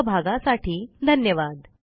सहभागासाठी धन्यवाद